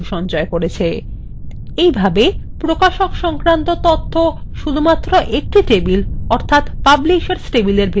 এই ভাবে প্রকাশক সংক্রান্ত তথ্য শুধুমাত্র একটি table প্রকাশক table ভিতরেই নথিভুক্ত করতে হবে